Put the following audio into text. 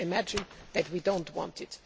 You can imagine that we do not want